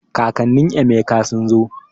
Kakannin Emeka sun zo